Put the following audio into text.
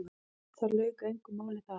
Það lauk engu máli þar.